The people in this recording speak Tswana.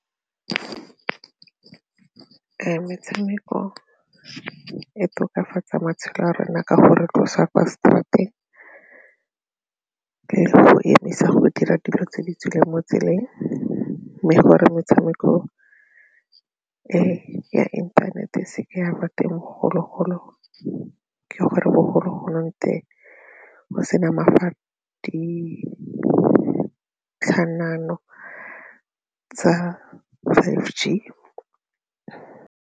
Metshameko e tokafatsa matshelo a rona ka go re tlosa kwa seterateg, ka go emisa go dira dilo tse di tswileng mo tseleng mme gore metshameko e ya inthanete se ka ya ba teng bogologolo ke gore bogologolwane teng go sena tsa five G.